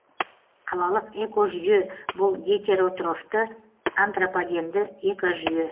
қалалық экожүйе бұл гетеротрофты антропогенді экожүйе